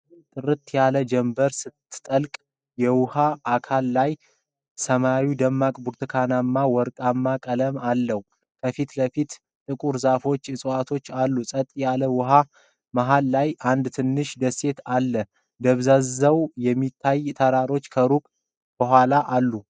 ጥርት ያለ ጀምበር ስትጠልቅ የውሃ አካል ላይ። ሰማዩ ደማቅ ብርቱካናማና ወርቃማ ቀለም አለው። ከፊት ለፊት ጥቁር ዛፎችና ዕፅዋት አሉ። ጸጥ ያለ ውሃ መሃል ላይ አንድ ትንሽ ደሴት አለ። ደብዝዘው የሚታዩ ተራሮች ከሩቅ ከኋላ አሉ።